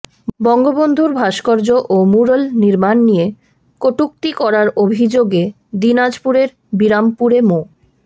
বঙ্গবন্ধুর ভাস্কর্য ও ম্যুরাল নির্মাণ নিয়ে কটূক্তি করার অভিযোগে দিনাজপুরের বিরামপুরে মো